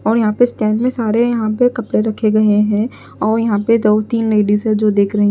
और यहां पे स्टैंड में सारे यहां पे कपड़े रखे गए हैं और यहां पे दो तीन लेडीज है जो देख रहे हैं।